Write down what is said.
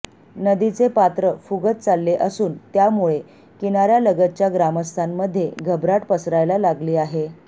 नदीचे पात्र फुगत चालले असून त्यामुळे किनाऱ्यालगतच्या ग्रामस्थांमध्ये घबराट पसरायला लागली आहे